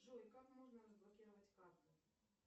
джой как можно разблокировать карту